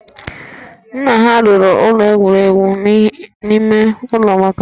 Nna ha rụrụ ụlọ egwuregwu n'ime ụlọ maka ha